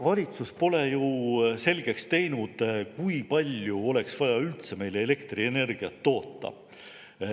Valitsus pole selgeks teinud, kui palju oleks vaja üldse meile elektrienergiat toota.